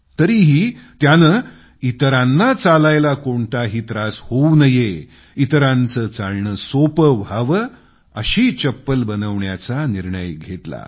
तरीही त्यानं इतरांना चालायला कोणताही त्रास होवू नये इतरांचं चालणं सोपं व्हावं अशी चप्पल बनवण्याचा निर्णय घेतला